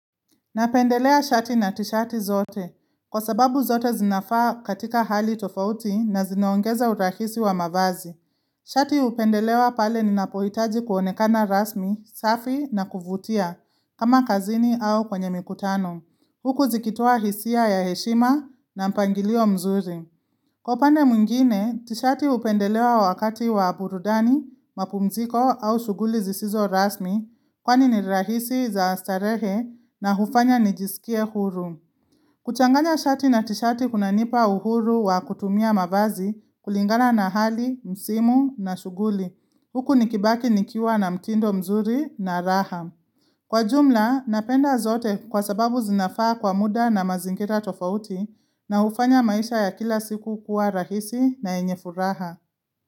Napendelea shati na tishati zote, kwa sababu zote zinafaa katika hali tofauti na zinaongeza urahisi wa mavazi. Shati hupendelewa pale ninapohitaji kuonekana rasmi, safi na kuvutia, kama kazini au kwenye mikutano, huku zikitoa hisia ya heshima na mpangilio mzuri. Kwa upande mwingine, tishati hupendelewa wakati wa burudani, mapumziko au shughuli zisizo rasmi kwani ni rahisi za starehe na hufanya nijisikie huru. Kuchanganya shati na tishati kunanipa uhuru wa kutumia mavazi kulingala na hali, msimu na shughuli. Huku nikibaki nikiwa na mtindo mzuri na raham. Kwa jumla, napenda zote kwa sababu zinafaa kwa muda na mazingira tofauti na hufanya maisha ya kila siku kuwa rahisi na yenye furaha.